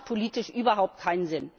Das hat politisch überhaupt keinen Sinn!